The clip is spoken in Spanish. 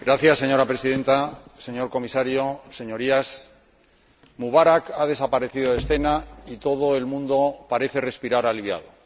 Señora Presidenta, señor Comisario, Señorías, Mubarak ha desaparecido de escena y todo el mundo parece respirar aliviado.